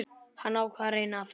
Hann ákvað að reyna aftur.